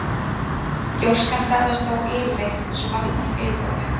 Gjóskan ferðast þá yfirleitt eins og vatn eftir yfirborðinu.